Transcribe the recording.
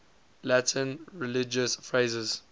latin religious phrases